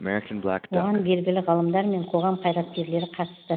оған белгілі ғалымдар мен қоғам қайраткерлері қатысты